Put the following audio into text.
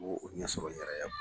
Ni b'o ɲɛ sɔrɔ n yɛrɛ ye.